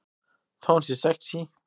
Þó hún sé sexí.